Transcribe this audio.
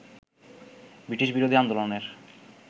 ব্রিটিশবিরোধী আন্দোলনের